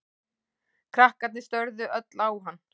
Krakkarnir störðu öll á hann.